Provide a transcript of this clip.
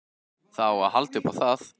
Það á að halda upp á það.